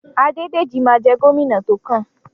Adédèjí ma jẹ́ gómìnà tókàn.